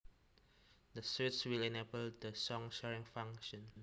This switch will enable the song sharing function